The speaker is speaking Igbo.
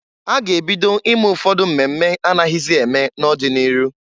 A ga ebido ime ụfọdụ mmemme anaghịzị eme n'ọdị n'iru.